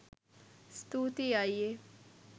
ස්තූතියි අයියේ